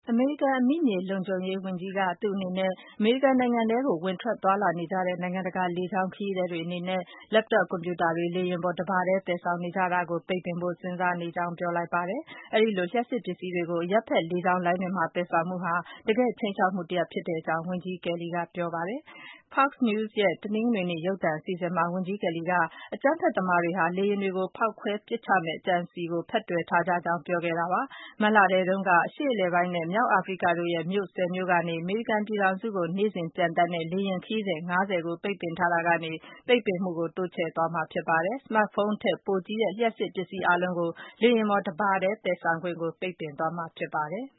အမေရိကန် အမိမြေလုံခြုံရေးအကြီးအကဲက သူ့အနေနဲ့ အမေရိကန်နိုင်ငံထဲကို ဝင်ထွက်သွားလာနေကြတဲ့ နိုင်ငံ တကာလေကြောင်း ခရီးသည်တွေအနေနဲ့ Laptop ကွန်ပြူတာတွေလေယာဉ်ပေါ် တပါတည်း သယ်ဆောင် နေကြတာကို ပိတ်ပင်ဖို့ စဉ်းစားနေကြောင်း ပြောလိုက်ပါတယ်။ အဲဒီလို လျှပ်စစ်ပစ္စည်းတွေကို အရပ်ဘက်လေကြောင်းလိုင်းတွေမှာ သယ်ဆောင်မှုဟာ တကယ့် ခြိမ်းခြောက်မှု တရပ်ဖြစ်ကြောင်း ဝန်ကြီး John Kelly က ပြောပါတယ်။ Fox News ရဲ့ တနင်္ဂနွေနေ့ ရုပ်သံအစီအစဉ်မှာ ဝန်ကြီး Kelly က အကြမ်းဖက်သမားတွေဟာ လေယာဉ်တွေကို ဖောက်ခွဲ ပစ်ချမယ့် အကြံအစည်ကို ဖက်တွယ်ထားကြကြောင်း ပြောခဲ့တာပါ။ ဒီလို တားမြစ်မှုဟာ မတ်လထဲတုန်းက အရှေ့အလယ်ပိုင်းနဲ့ မြောက်အာဖရိကတို့ရဲ့ မြို့၁၀ မြို့ကနေ အမေရိကန်ပြည်ထောင်စုကို နေ့စဉ် ပျံသန်းတဲ့ လေယာဉ် ခရီးစဉ် ၅၀ ကို ပိတ်ပင်ထားတာကနေ တိုးချဲ့သွားမှာဖြစ်ပါတယ်။ Smartphone ထက်ပိုကြီးတဲ့ လျှပ်စစ်ပစ္စည်းအားလုံး လေယာဉ်ပေါ် တပါတည်း သယ်ဆောင်ခွင့်ကို ပိတ်ပင်သွားမှာ ဖြစ်ပါတယ်။